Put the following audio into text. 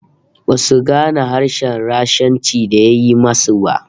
Basu gane harshen Rashanci da ya yi ma su ba